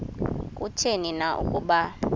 kutheni na ukuba